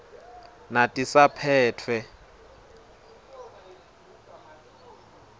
natisaphetfwe